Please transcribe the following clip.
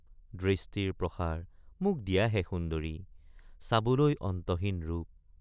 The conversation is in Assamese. দৃষ্টিৰ প্ৰসাৰ মোক দিয়াহে সুন্দৰি চাবলৈ অন্তহীন ৰূপ।